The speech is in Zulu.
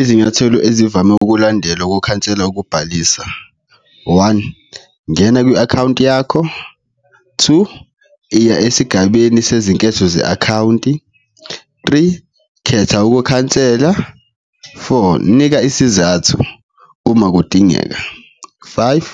Izinyathelo ezivame ukulandelwa ukukhansela ukubhalisa, one, ngena kwi-akhawunti yakho, two, iya esigabeni sezinketho ze-akhawunti, three, khetha ukukhansela, four, nika isizathu uma kudingeka, five,